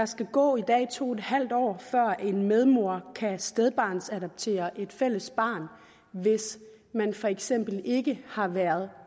skal gå to en halv år før en medmor kan stedbarnsadoptere et fælles barn hvis man for eksempel ikke har været